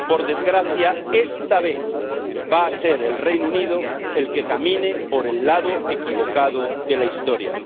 Por desgracia, esta vez va a ser el Reino Unido el que camine por el lado equivocado de la historia.